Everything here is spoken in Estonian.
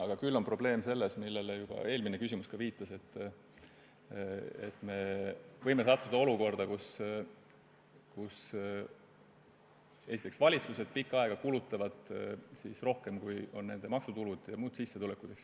Küll aga on probleem selles, millele juba eelmine küsimus viitas, et me võime sattuda olukorda, kus valitsused pikka aega kulutavad rohkem, kui võimaldavad nende maksutulud ja muud sissetulekud.